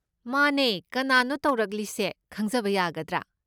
ꯃꯥꯅꯦ, ꯀꯅꯥꯅꯣ ꯇꯧꯔꯛꯂꯤꯁꯦ ꯈꯪꯖꯕ ꯌꯥꯒꯗ꯭ꯔꯥ?